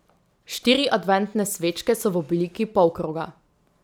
Štiri adventne svečke so v obliki polkroga.